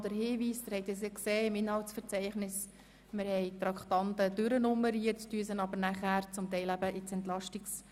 Hierzu noch kurz ein Hinweis: Wie Sie im Programm sehen konnten, haben wir die Traktanden wie üblich durchnummeriert, teilweise schieben wir sie dann aber ins EP hinein.